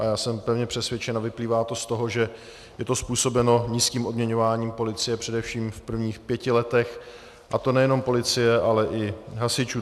A já jsem pevně přesvědčen a vyplývá to z toho, že je to způsobeno nízkým odměňováním policie především v prvních pěti letech, a to nejenom policie, ale i hasičů.